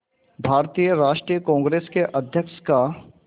भारतीय राष्ट्रीय कांग्रेस के अध्यक्ष का